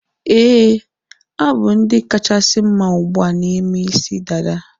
Éè, ha bụ ndị kachasị mma ugbua na ime isi dada